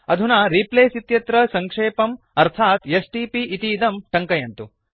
अधुना रिप्लेस इत्यत्र सङ्क्षेपम् अर्थात् एसटीपी इतीदं टङ्कयन्तु